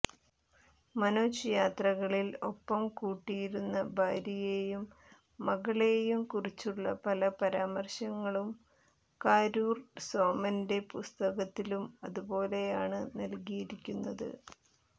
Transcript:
മനോജ് യാത്രകളിൽ ഒപ്പം കൂട്ടിയിരുന്ന ഭാര്യയേയും മകെളയും കുറിച്ചുള്ള പല പരാമർശങ്ങളും കാരൂർ സോമന്റെ പുസ്തകത്തിലും അതുപോലെയാണ് നൽകിയിരിക്കുന്നത്